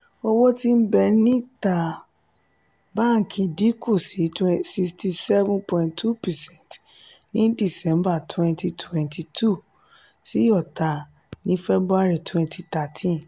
owó ti n be níta bánkì dinku sí sixty seven point two percent ní december twenty twenty two sí ota ní february twenty thirteen.